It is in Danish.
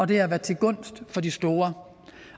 det har været til gunst for de store